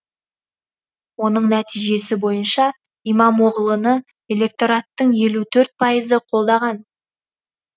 оның нәтижесі бойынша имамоғлыны электораттың елу төрт пайызы қолдаған